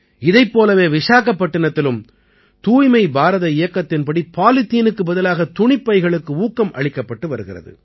இதைப் போலவே விசாகப்பட்டினத்திலும் தூய்மை பாரத இயக்கத்தின்படி பாலித்தீனுக்கு பதிலாக துணிப்பைகளுக்கு ஊக்கம் அளிக்கப்பட்டு வருகிறது